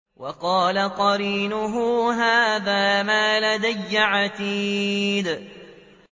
وَقَالَ قَرِينُهُ هَٰذَا مَا لَدَيَّ عَتِيدٌ